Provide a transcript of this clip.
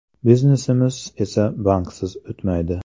Biznesimiz esa banksiz o‘tmaydi.